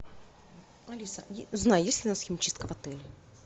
алиса узнай есть ли у нас химчистка в отеле